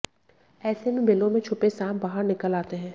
ऐसे में बिलों में छुपे सांप बाहर निकल आते हैं